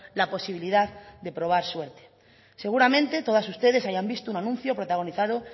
la posibilidad de probar suerte seguramente todas ustedes hayan visto un anuncio protagonizado